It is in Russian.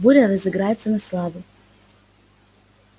буря разыграется на славу